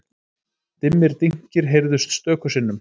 Dimmir dynkir heyrðust stöku sinnum.